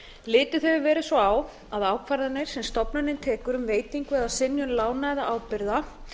litið hefur verið svo á að ákvarðanir sem stofnunin tekur um veitingu eða synjun lána eða ábyrgða